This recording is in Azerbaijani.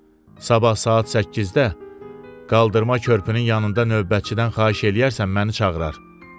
Sabah saat 8-də qaldırma körpünün yanında növbətçidən xahiş eləyərsən, məni çağırar.